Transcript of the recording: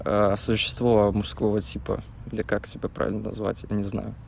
существо мужского типа или как себя правильно назвать я не знаю